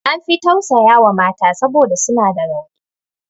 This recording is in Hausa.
An fi tausaya wa mata saboda suna da rauni.